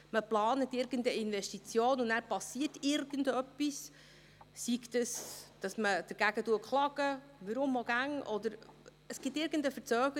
Man plant irgendeine Investition, und dann passiert irgendetwas, sei dies, dass dagegen geklagt wird, warum auch immer, oder es gibt irgendeine Verzögerung.